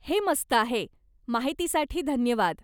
हे मस्त आहे. माहितीसाठी धन्यवाद.